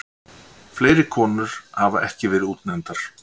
Fleiri konur hafa ekki verið útnefndar.